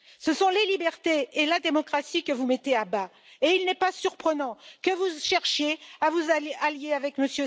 Ce sont les libertés et la démocratie que vous mettez à bas, et il n'est pas surprenant que vous cherchiez à vous allier avec M.